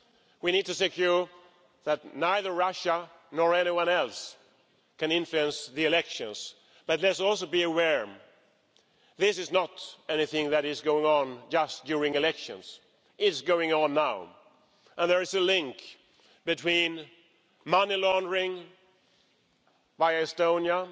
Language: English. We need to ensure that neither Russia nor anyone else can influence the elections but there let's also be aware, this is not anything that is going on just during elections, it is going on now and there is a link between money laundering by Estonia,